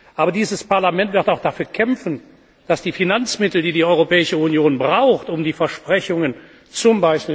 Aber dieses Parlament wird auch dafür kämpfen, dass die Finanzmittel, die die Europäische Union braucht, um die Versprechungen z.